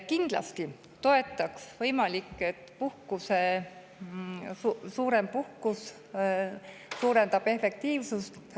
Kindlasti toetaksid, võimalik, et pikem puhkus suurendab efektiivsust.